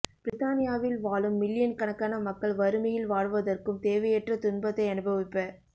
பிரித்தானியாவில் வாழும் மில்லியன் கணக்கான மக்கள் வறுமையில் வாடுவதற்கும் தேவையற்ற துன்பத்தை அனுபவிப்ப